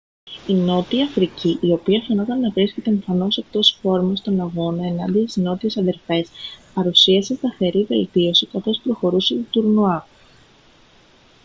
η νότια αφρική η οποία φαινόταν να βρίσκεται εμφανώς εκτός φόρμας στον αγώνα ενάντια στις νότιες αδερφές παρουσίασε σταθερή βελτίωση καθώς προχωρούσε το τουρνουά